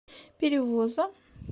перевоза